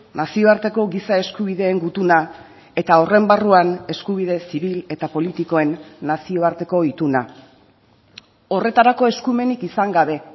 nazioarteko giza eskubideen gutuna eta horren barruan eskubide zibil eta politikoen nazioarteko ituna horretarako eskumenik izan gabe